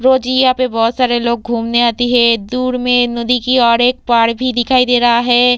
रोज ही यहाँ बहोत सारे लोग घूमने आते हैं दूर में नदी की ओर एक पहाड़ भी दिखाई दे रहा है।